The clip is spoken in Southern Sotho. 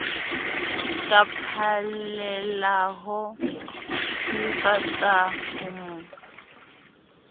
ka phallelaho sylvester ho mo